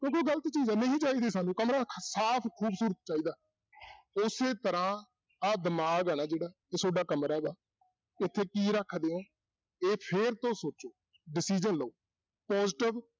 ਕਿਉਂਕਿ ਉਹ ਗ਼ਲਤ ਚੀਜ਼ ਆ ਨਹੀਂ ਚਾਹੀਦੀ ਸਾਨੂੰ ਕਮਰਾ ਸਾਫ਼ ਖੂਬਸੂਰਤ ਚਾਹੀਦਾ ਉਸੇ ਤਰ੍ਹਾਂ ਆਹ ਦਿਮਾਗ ਆ ਨਾ ਜਿਹੜਾ ਉਹ ਤੁਹਾਡਾ ਕਮਰਾ ਵਾ ਇੱਥੇ ਕੀ ਰੱਖਦੇ ਹੋ ਇਹ ਫਿਰ ਤੋਂ ਸੋਚੋ decision ਲਓ positive